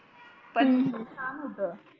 पण छान होत